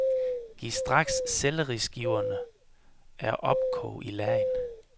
Giv straks selleriskiverne er opkog i lagen.